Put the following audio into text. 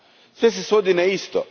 Sve se svodi na isto.